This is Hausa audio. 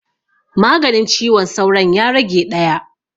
Maganin ciwon sauron ya rage ɗaya